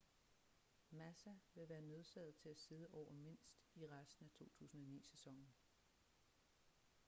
massa vil være nødsaget til at sidde over mindst i resten af 2009-sæsonen